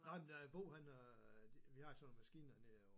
Nej men der Bo han øh vi har sådan nogle maskiner til at